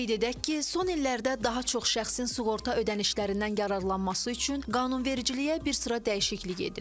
Qeyd edək ki, son illərdə daha çox şəxsin sığorta ödənişlərindən yararlanması üçün qanunvericiliyə bir sıra dəyişiklik edilib.